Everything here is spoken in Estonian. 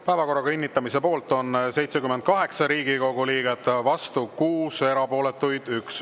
Päevakorra kinnitamise poolt on 78 Riigikogu liiget, vastu 6, erapooletuid 1.